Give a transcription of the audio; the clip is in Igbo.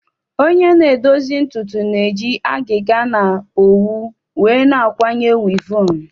Onye na-edozi ntutu na-eji agịga na owu wee na-akwanye wịvọn